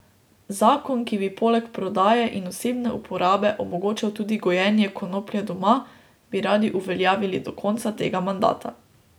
Zakon, ki bi poleg prodaje in osebne uporabe omogočal tudi gojenje konoplje doma, bi radi uveljavili do konca tega mandata.